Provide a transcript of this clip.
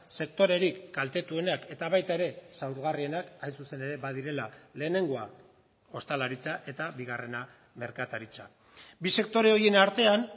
sektorerik kaltetuenak eta baita ere zaurgarrienak hain zuzen ere badirela lehenengoa ostalaritza eta bigarrena merkataritza bi sektore horien artean